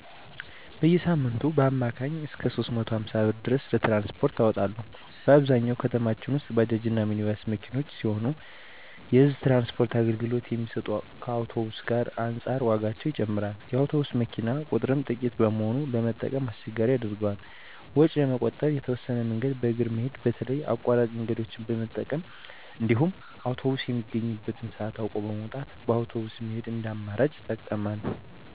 በየሳምንቱ በአማካኝ እስከ 350 ብር ድረስ ለትራንስፖርት አወጣለሁ። በአብዛኛው ከተማችን ውስጥ ባጃጅ እና ሚኒባስ መኪኖች ሲሆኑ የህዝብ ትራንስፖርት አገልግሎት የሚሰጡት ከአውቶብስ ዋጋ አንፃር ዋጋቸው ይጨምራል። የአውቶቡስ መኪኖች ቁጥርም ጥቂት በመሆኑ ለመጠቀም አስቸጋሪ ያደርገዋል። ወጪን ለመቆጠብ የተወሰነ መንገድን በእግር መሄድ በተለይ አቋራጭ መንገደኞችን በመጠቀም እንዲሁም አውቶብስ የሚገኝበትን ሰአት አውቆ በመውጣት በአውቶብስ መሄድን እንደ አማራጭ እጠቀማለሁ።